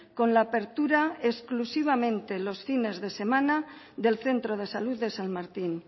con la apertura con la apertura exclusivamente los fines de semana del centro de salud de san martin